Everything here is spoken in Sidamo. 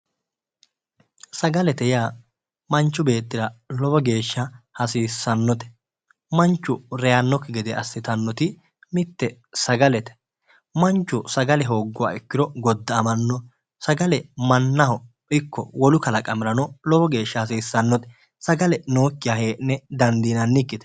Sagalete yaa manchu beettira lowo geeshsha hasiissannote manchu reyaannokki gede assitannoti mitte sagalete manchu sagale hoogguro godda"amanno sagale mannaho ikko wolu kalaqamirano lowo geeshsha hasiissannote sagale nookkiha hee'ne dandiinannikkite